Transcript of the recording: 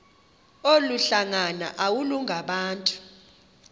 olu hlanga iwalungabantu